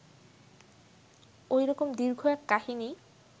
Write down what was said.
ঐ রকম দীর্ঘ এক কাহিনী